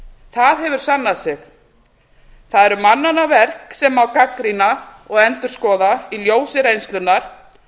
það hefur sannað sig það eru mannanna verk sem má gagnrýna og endurskoða í ljósi reynslunnar